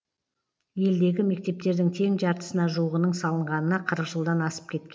елдегі мектептердің тең жартысына жуығының салынғанына қырық жылдан асып кеткен